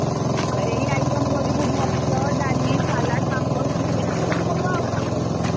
ଏଇ item କରିବୁ ଭାତ, ଡାଲି, salad , ପାମ୍ପଡ, chicken ଏଇ ସବୁ ହବ ଆଉ କଣ କରିବା ଆଉ।